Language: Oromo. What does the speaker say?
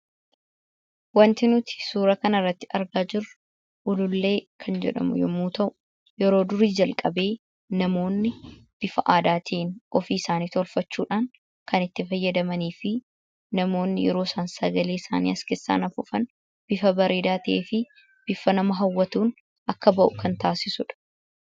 Waanti nuti suura kanarratti argaa jirru Ulullee kan jedhamu yeroo ta'u, yeroo durii jalqabee bifa aadaatiin ofiisaanii tolfachuudhaan kan itti fayyadamanii fi namoonni yeroo sagalee isaanii as keessaan afuufan bifa bareedaa ta'ee fi bifa nama hawwatuun akka ba'u kan taasisudha.